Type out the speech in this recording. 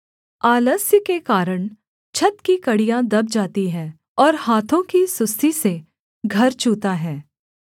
आलस्य के कारण छत की कड़ियाँ दब जाती हैं और हाथों की सुस्ती से घर चूता है